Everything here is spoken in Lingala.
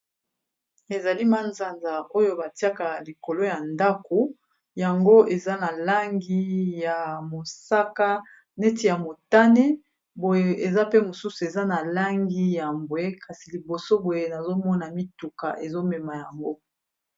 Ezali manzanza oyo batiaka likolo ya ndako yango eza na langi ya mosaka neti ya motane boye eza pe mosusu eza na langi ya mbwe kasi liboso boye nazomona mituka ezomema yango.